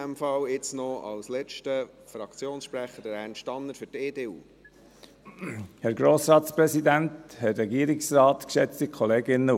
Jetzt noch als letzter Fraktionssprecher, Ernst Tanner für die EDU.